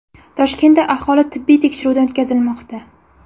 Toshkentda aholi tibbiy tekshiruvdan o‘tkazilmoqda.